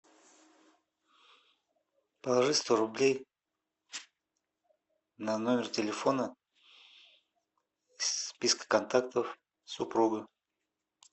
положи сто рублей на номер телефона с списка контактов супруга